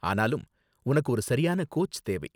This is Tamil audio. ஆனாலும் உனக்கு ஒரு சரியான கோச் தேவை.